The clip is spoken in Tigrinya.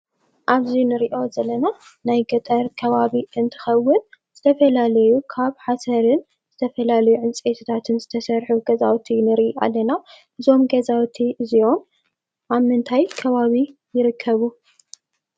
ኣብዚ ንሪኦ ዘለና ናይ ገጠር ከባቢ እንትኸውን ዝተፈላለየ ካብ ሓሰርን ዝተፈላለየ ዕንፀይትታትን ዝተሰርሑ ገዛውቲ ንሪኢ ኣለና፡፡ እዞም ገዛውቲ እዚኦም ኣብ ምንታይ ከባቢ ይርከቡ?